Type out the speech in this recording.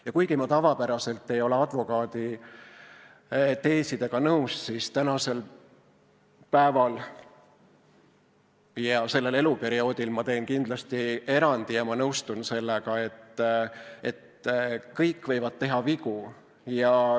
Ja kuigi ma tavapäraselt ei ole advokaadi teesidega nõus, siis praegu sellel eluperioodil teen kindlasti erandi ja nõustun sellega, et kõik võivad teha vigu.